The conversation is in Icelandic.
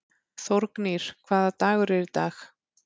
Þórgnýr, hvaða dagur er í dag?